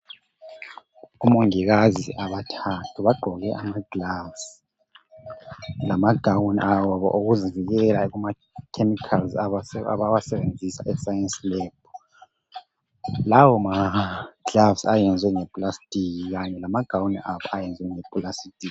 Omongikazi abathathu bagqoke ama"gloves" lama "gown" abo okuzivkela kuma"chemicals" abawasebenzisa e"science lab".Lawo ma "gloves" ayenziwe nge"plasic" kanye lama "gown" abo ayeziwe nge "plastic".